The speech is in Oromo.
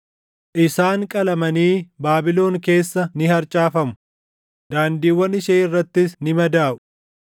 Isaan qalamanii Baabilon keessa ni harcaafamu; daandiiwwan ishee irrattis ni madaaʼu.